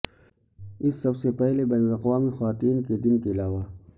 اس سب سے پہلے بین الاقوامی خواتین کے دن کے علاوہ